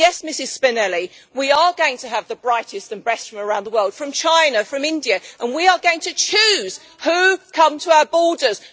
Yes, Ms Spinelli, we are going to have the brightest and best from around the world, from China, from India, and we are going to choose who come to our borders.